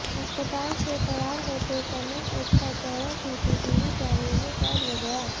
अस्पताल से फरार होते समय उसका चेहरा सीसीटीवी कैमरे में कैद हो गया